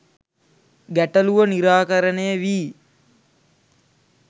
ගැටලුව නිරාකරණය වී